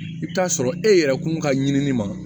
I bɛ taa sɔrɔ e yɛrɛ kun ka ɲinini ma